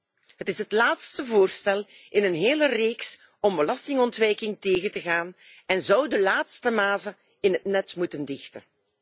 6. Het is het laatste voorstel in een hele reeks om belastingontwijking tegen te gaan en zou de laatste mazen in het net moeten dichten.